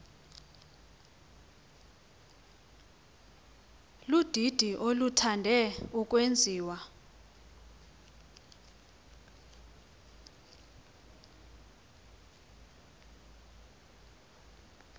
ludidi oluthande ukwenziwa